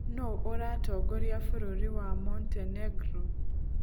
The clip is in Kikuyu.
Nũũ ũratongoria bũrũri wa Montenegro?